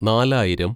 നാലായിരം